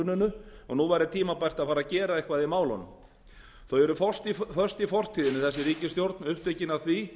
frá hruninu og nú væri tímabært að fara að gera eitthvað í málunum hún er föst í fortíðinni þessi ríkisstjórn upptekin af því